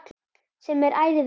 Sem er ærið verk.